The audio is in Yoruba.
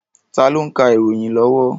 Tá ló ń ka ìròyìn lọ́wọ́?